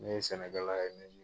Ne ye sɛnɛkɛla ye